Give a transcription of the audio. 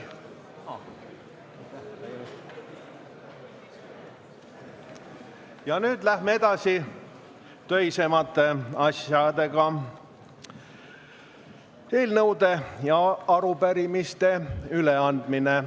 Ja nüüd läheme edasi töisemate asjadega – eelnõude ja arupärimiste üleandmisega.